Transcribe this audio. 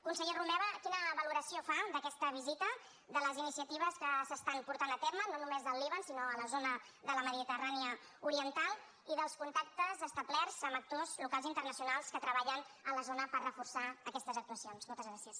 conseller romeva quina valoració fa d’aquesta visita de les iniciatives que s’estan portant a terme no només del líban sinó a la zona de la mediterrània oriental i dels contactes establerts amb actors locals i internacionals que treballen a la zona per reforçar aquestes actuacions moltes gràcies